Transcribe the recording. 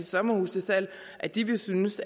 sommerhus til salg at de ville synes